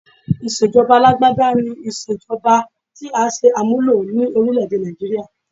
Ìṣe ìjọba Alágbádá ni Ìṣèjọba tí à ń ṣe àmúlò ní orílẹ̀ èdè Nàìjííríà?